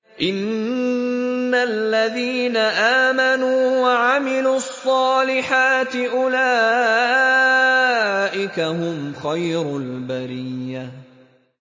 إِنَّ الَّذِينَ آمَنُوا وَعَمِلُوا الصَّالِحَاتِ أُولَٰئِكَ هُمْ خَيْرُ الْبَرِيَّةِ